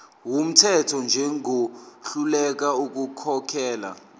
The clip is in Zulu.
wumthetho njengohluleka ukukhokhela